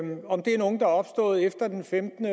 opstået efter den femtende